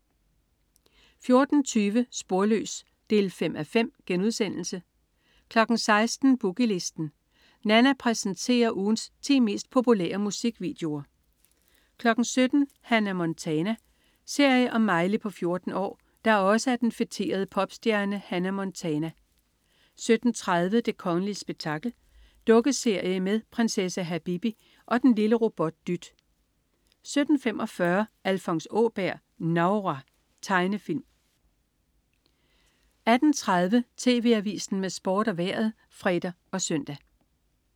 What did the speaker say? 14.20 Sporløs 5:5* 16.00 Boogie Listen. Nanna præsenterer ugens ti mest populære musikvideoer 17.00 Hannah Montana. Serie om Miley på 14 år, der også er den feterede popstjerne Hannah Montana 17.30 Det kongelige spektakel. Dukkeserie med prinsesse Habibi og og den lille robot Dyt 17.45 Alfons Åberg. Novra. Tegnefilm 18.30 TV Avisen med Sport og Vejret (fre og søn)